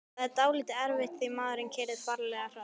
Það var dálítið erfitt því maðurinn keyrði ferlega hratt.